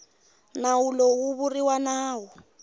nawu lowu wu vuriwa nawu